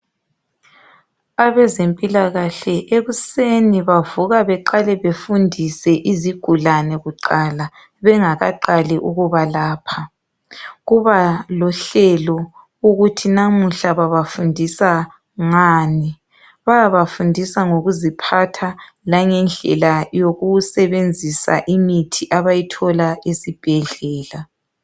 Abezempilakahle ekuseni bavuka baqale bafundise izigulane kuqala bengaqali ukuba lapha. Kuba lohlelo ukuthi namuhla babafundisa ngani. Bayabafundisa ngokuziphatha langendlela yokusebenzisa imithi abayithola esibhedlela.